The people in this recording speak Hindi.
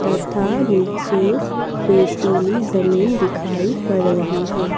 तथा नीचे रेतीली जमीन दिखाई पड़ रही है।